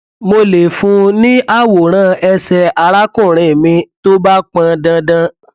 mo lè fún un ní àwòrán ẹsẹ arákùnrin mi tó bá pọn dandan